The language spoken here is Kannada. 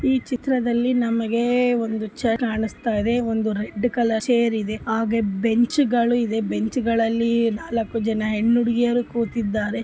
ಈ ಚಿತ್ರದಲ್ಲಿ ಮ್ಯಾನೇಜ್ ಚೇರ್ ಕಾನಾಸ್ತಾ ಇದೆ ಆ ರೆಡ್ ಕಲರ್ ಚೇರ್ ಬೆಂಚ್ ಗಳಿವೆ ಆ ಬೆಂಚ್ಗಳಲ್ಲಿ ನಲಕ್ ಜನ ಹೆಣ್ಣ್ ಹುಡುಗಿಯರು ಕೂತಿದಾರೆ .